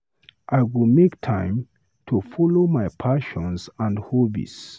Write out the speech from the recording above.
I go make time to follow my passions and hobbies.